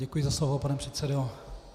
Děkuji za slovo, pane předsedo.